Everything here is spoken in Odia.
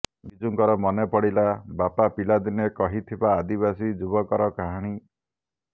ବିଜୁଙ୍କର ମନେ ପଡ଼ିଲା ବାପା ପିଲାଦିନେ କହିଥିବା ଆଦିବାସୀ ଯୁବକର କାହାଣୀ